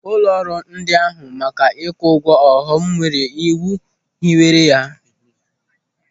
Ụlọrụ ndị n'ahụ maka ikwu ụgwọ ọghọm nwere iwu hiwere ha.